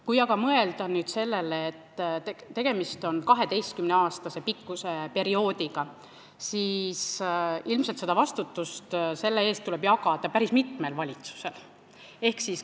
Kui aga mõelda sellele, et tegemist on 12 aasta pikkuse perioodiga, siis ilmselt tuleb vastutust jagada päris mitmel valitsusel.